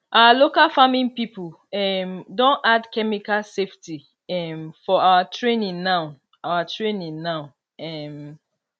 our local farming people um don add chemical safety um for our training now our training now um